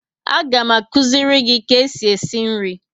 A ga m akuziri nka e si esi nri